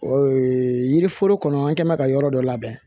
yiri foro kɔnɔ an kɛn bɛ ka yɔrɔ dɔ labɛn